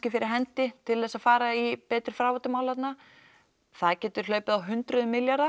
fyrir hendi til þess að fara í betri fráveitumál þarna það getur hlaupið á hundruðum milljóna